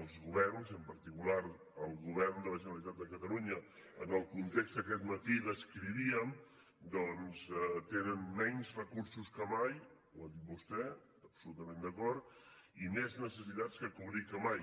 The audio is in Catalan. els governs i en particular el govern de la generalitat de catalunya en el context que aquest matí descrivíem doncs tenen menys recursos que mai ho ha dit vostè absolutament d’acord i més necessitats per cobrir que mai